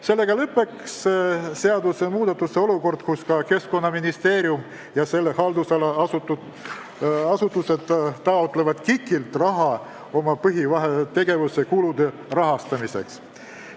Sellega lõpeks olukord, kus ka Keskkonnaministeerium ja selle haldusala asutused taotlevad KIK-ilt raha oma põhitegevuse kulude rahastamiseks.